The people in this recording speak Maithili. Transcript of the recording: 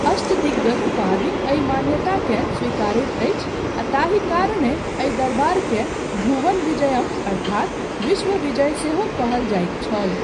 अष्टदिग्गज उपाधि एहि मान्यताकेँ स्वीकारैत अछि आ ताहि कारणेँ एहि दरबारकेँ भुवन विजयम अर्थात विश्व विजय सेहो कहल जाइत छल।